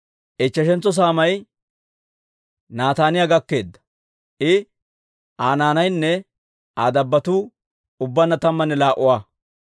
Ichcheshentso saamay Nataaniyaa gakkeedda; I, Aa naanaynne Aa dabbotuu ubbaanna tammanne laa"a.